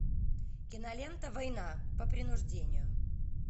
кинолента война по принуждению